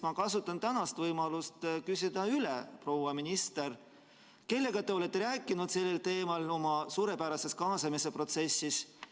Ma kasutan tänast võimalust küsida üle: proua minister, kellega te olete rääkinud sellel teemal oma suurepärases kaasamise protsessis?